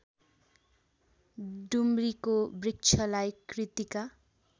डुम्रीको वृक्षलाई कृतिका